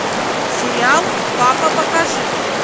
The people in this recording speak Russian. сериал папа покажи